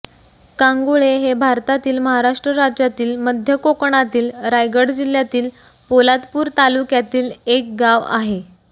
कांगुळे हे भारतातील महाराष्ट्र राज्यातील मध्य कोकणातील रायगड जिल्ह्यातील पोलादपूर तालुक्यातील एक गाव आहे